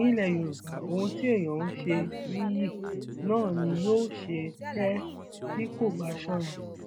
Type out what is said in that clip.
ní ilẹ yorùbá ohun tí èèyàn ń ṣe nìyí náà ni yóò ṣe tẹ tí kò bá ṣọra